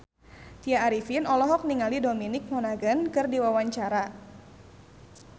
Tya Arifin olohok ningali Dominic Monaghan keur diwawancara